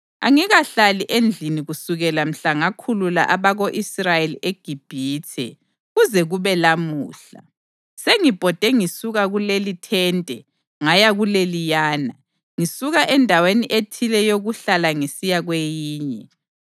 Angikahlali endlini kusukela mhla ngakhulula abako-Israyeli eGibhithe kuze kube lamuhla. Sengibhode ngisuka kulelithente ngaya kuleliyana, ngisuka endaweni ethile yokuhlala ngisiya kweyinye.